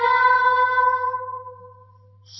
ವಂದೇಮಾತರಂ